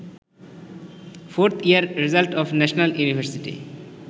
4th year result of national university